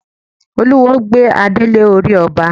Olúwo gbé adé lé orí ọba.